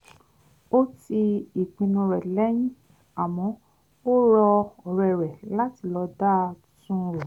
ó ti ìpinnu rẹ̀ lẹ́yìn àmọ́ ó rọ ọ̀rẹ́ rẹ̀ láti lọ dá tú́n un rò